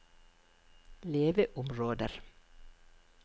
leveområder